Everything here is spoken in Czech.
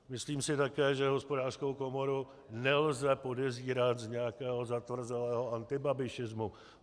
Myslím si také, že Hospodářskou komoru nelze podezírat z nějakého zatvrzelého antibabišismu.